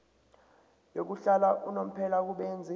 yokuhlala unomphela kubenzi